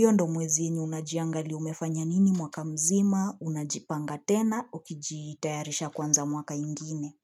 yo ndo mwezi inyo unajiangali umefanya nini mwaka mzima, unajipanga tena, ukijitayarisha kwanza mwaka ingine.